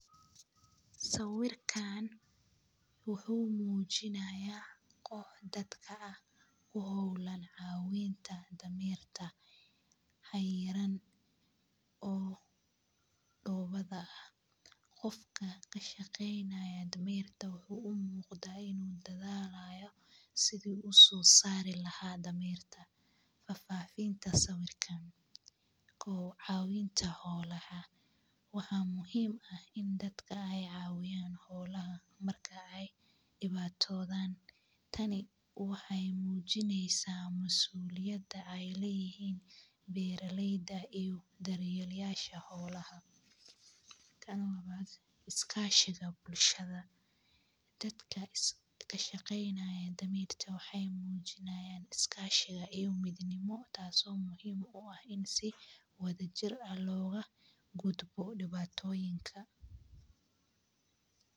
Sawirkan wuxuu mujinayaa kox dadka ah oo holan cawinta damerka xayiran oo dowadha, qofka kashaqeynayo dameerta wuxuu u muqda in u dadhalayo si u usosari lahay dameerta, fafinta sawirkan, kowaad cawinta xolaha waxaa muhiim ah in dadka ee cawiyaan xolaha marki ee diwatothan tani wexee mujineysaa masuliyada ee leyihin beera leyda iyo daryelayasha xolaha, tan lawaad iskashiga bulshaada, dadka ka shaqeynayo dameerta wexee mujinayan iskashiga iyo dadnimo taso muhiim wadha jir ah loga gudbo diwatoyinka.